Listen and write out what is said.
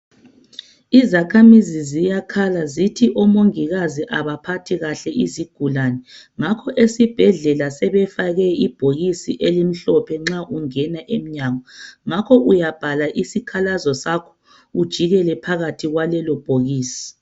Izakhamizi ziyakhala zithi omongikazi abaphathi kahle izigulani, ngakho esibhedlela sebefake ibhokisi elimhlophe nxa ungena emnyango ,ngakhoke uyabhala isikhalazo sakho ujikele phakathi kwalelo bhokisi.